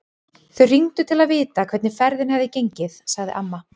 Þau hringdu til að vita hvernig ferðin hefði gengið, sagði amma.